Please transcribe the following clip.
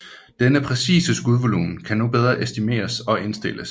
Den præcise skudvolumen kan nu bedre estimeres og indstilles